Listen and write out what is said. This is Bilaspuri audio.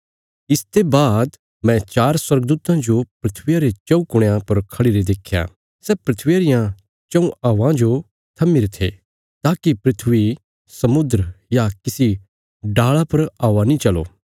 इसते बाद मैं चार स्वर्गदूतां जो धरतिया रे चऊँ कुणयां पर खढ़िरे देख्या सै धरतिया रियां चऊँ हवां जो थम्मीरे थे ताकि धरती समुद्र या किसी डाल़ा पर हवा नीं चलो